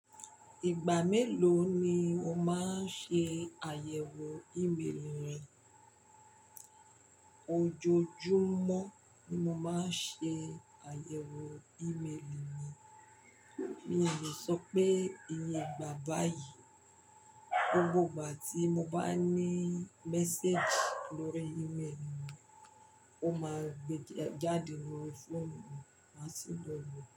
Ìgbà mélòó ni o máa ń ṣe àyẹ̀wò ìméèlì rẹ? Ojoojúmọ́ ni mo máa ń ṣe àyẹ̀wò ìméèlì mi, mi ò lè sọ pé iye ìgbà báyìí. Gbogbo ìgbà tí mo bá ní message lórí ìméèlì mi, ó máa gbé jáde lórí fóònù mi, máa sì ló wo.